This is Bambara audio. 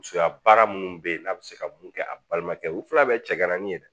Musoya baara minnu bɛ yen n'a bɛ se ka mun kɛ a balimakɛw filɛ ni ye yɛrɛ